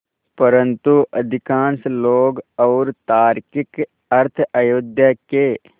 परन्तु अधिकांश लोग और तार्किक अर्थ अयोध्या के